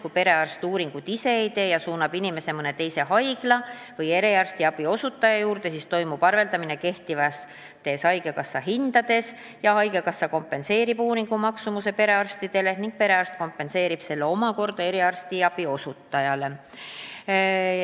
Kui perearst ise uuringuid ei tee ja suunab inimese mõne teise haigla või eriarstiabi osutaja juurde, siis toimub arveldamine kehtivate haigekassa hindadega, haigekassa kompenseerib uuringu maksumuse perearstidele ning perearst kompenseerib selle omakorda eriarstiabi osutajale.